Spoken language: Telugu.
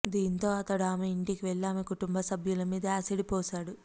దీంతో అతడు ఆమె ఇంటికి వెళ్లి ఆమె కుటుంబ సభ్యుల మీద యాసిడ్ పోశాడు